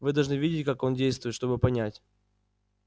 вы должны видеть как она действует чтобы понять